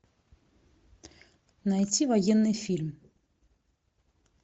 найти военный фильм